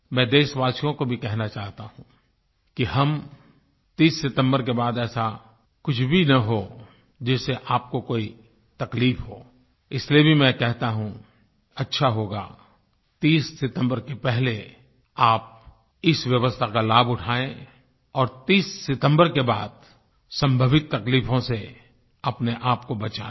मैं देशवासियों को भी कहना चाहता हूँ कि हम 30 सितम्बर के बाद ऐसा कुछ भी ना हो जिससे आपको कोई तकलीफ़ हो इसलिए भी मैं कहता हूँ अच्छा होगा 30 सितम्बर के पहले आप इस व्यवस्था का लाभ उठाएँ और 30 सितम्बर के बाद संभावित तकलीफों से अपनेआप को बचा लें